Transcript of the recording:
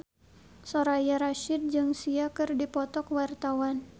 Soraya Rasyid jeung Sia keur dipoto ku wartawan